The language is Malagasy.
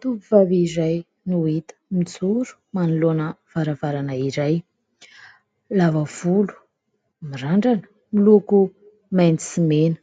Tovovavy iray no hita mijoro manoloana varavarana iray : lava volo, mirandrana miloko mainty sy mena,